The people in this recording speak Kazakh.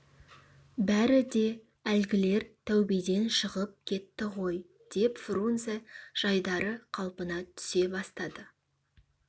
бәрі де әлгілер тәубеден шығып кетті ғой деп фрунзе жайдары қалпына түсе бастады